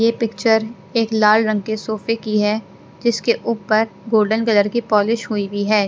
ये पिक्चर एक लाल रंग के सोफे की है जिसके ऊपर गोल्डन कलर की पॉलिश हुई हुई है।